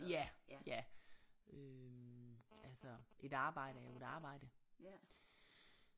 Ja ja øh altså et arbejde er jo et arbejde